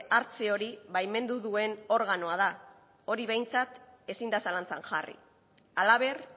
hartze hori baimendu duen organoa da hori behintzat ezin da zalantzan jarri hala ber